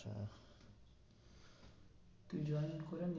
তুই join করে নিবি~